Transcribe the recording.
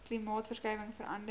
klimaatsverskuiwinhg vera nder